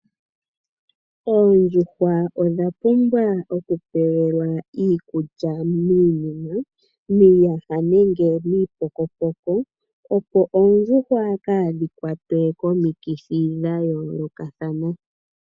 Oondjuhwa odha pumbwa okupewelwa iikulya miiyuma, miiyaha nenge miipokopoko opo oondjuhwa kaadhi kwatwe komikithi dhayoolokathana.